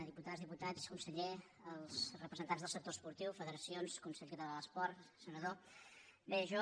diputades diputats conseller re·presentants del sector esportiu federacions consell català de l’esport senador bé jo